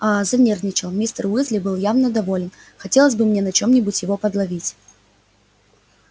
а занервничал мистер уизли был явно доволен хотелось бы мне на чём-нибудь его подловить